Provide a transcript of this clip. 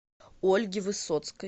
ольге высоцкой